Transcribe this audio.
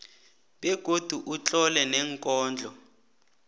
begodu utlole neenkondlo